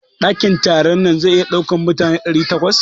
Dakin taron nan zai iya ɗaukar mutane ɗari takwas.